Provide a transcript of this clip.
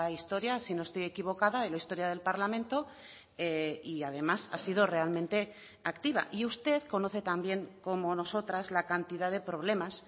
historia si no estoy equivocada en la historia del parlamento y además ha sido realmente activa y usted conoce también como nosotras la cantidad de problemas